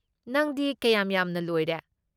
ꯅꯪꯗꯤ ꯀꯌꯥꯝ ꯌꯥꯝꯅ ꯂꯣꯏꯔꯦ?